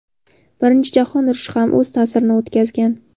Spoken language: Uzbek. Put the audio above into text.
Birinchi jahon urushi ham o‘z ta’sirini o‘tkazgan.